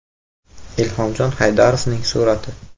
Ilhomjon Haydarovning surati.